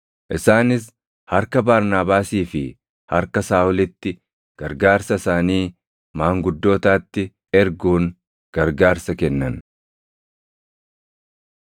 Isaanis harka Barnaabaasii fi harka Saaʼolitti gargaarsa isaanii maanguddootaatti erguun gargaarsa kennan.